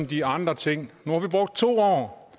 de andre ting nu har vi brugt to år og